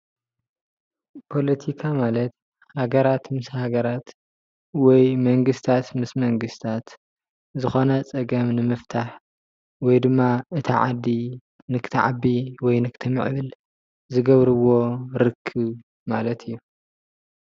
ፖሎቲካ ማለት ሃገራት ምስ ሃገራት ወይ መንግስትታት ምስ መንግስትታት ዝኮነ ፀገም ንምፍታሕ ወይድማ እታ ዓዲ ንክትዓቢ ወይ ንክትምዕብል ዝገብርዎ ርክብ ማለት እዩ።